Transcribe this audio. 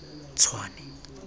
tshwane